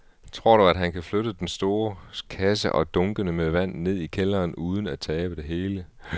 Tror du, at han kan flytte den store kasse og dunkene med vand ned i kælderen uden at tabe det hele?